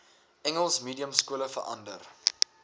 engels mediumskole verander